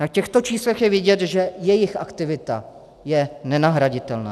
Na těchto číslech je vidět, že jejich aktivita je nenahraditelná.